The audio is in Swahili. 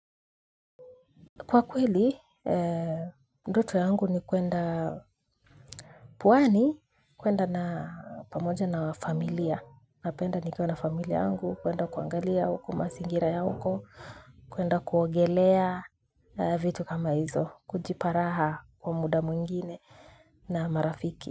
Kwa kweli, ndoto yangu ni kwenda pwani, kwenda na pamoja na familia. Napenda nikwa na familia yangu, kwenda kuangalia huko, mazingira ya huko, kwenda kuogelea vitu kama hizo, kujiparaha kwa muda mwingine na marafiki.